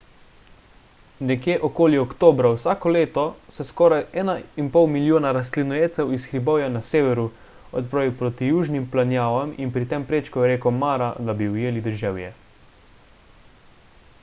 nekje okoli oktobra vsako leto se skoraj 1,5 milijona rastlinojedcev iz hribovja na severu odpravi proti južnim planjavam in pri tem prečkajo reko mara da bi ujeli deževje